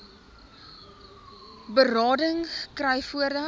berading kry voordat